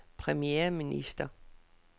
premierminister